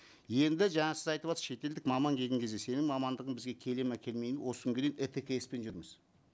енді жаңа сіз айтыватырсыз шетелдік маман келген кезде сенің мамандығың бізге келеді ме келмейді ме осы күнге дейін еткс пен жүрміз